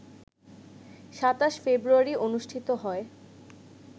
২৭ ফেব্রুয়ারি অনুষ্ঠিত হয়